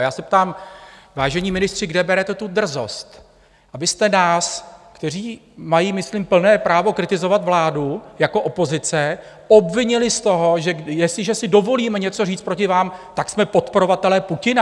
A já se ptám, vážení ministři, kde berete tu drzost, abyste nás, kteří mají myslím plné právo kritizovat vládu jako opozice, obvinili z toho, že jestliže si dovolíme něco říct proti vám, tak jsme podporovatelé Putina?